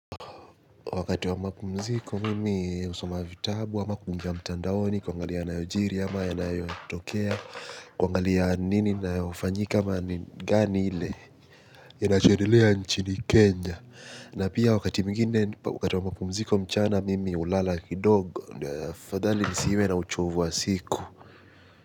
Wakati wa mapumziko mimi husoma vitabu ama kuingia mtandaoni kwangalia nayojiri ama yanayotokea kwangalia nini nayofanyika mani gani ile yanachedelea nchini kenya na pia wakati mwingine wakati wa mapumziko mchana mimi ulala kidogo ndio afadhali nisiwe na uchovu wa siku.